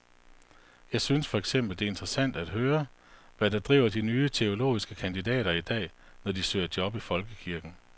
Jeg synes for eksempel, det er interessant at høre, hvad der driver de nye teologiske kandidater i dag, når de søger job i folkekirken.